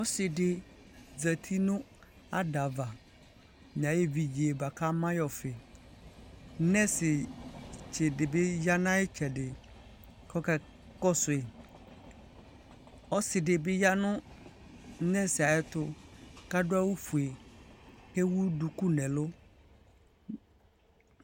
ɔsiidi zati nʋ adaɣa nʋ ayi ɛvidzɛ bʋakʋ ama yi ɔƒii, nʋrsi tsi dibi yanʋ ayi itsɛdi kʋ ɔkakɔsʋi, ɔsii dibi yanʋ nʋrsiɛ ayɛtʋ kʋ adʋ awʋ ƒʋɛ kʋ ɛwʋ dʋkʋ nʋ ɛlʋ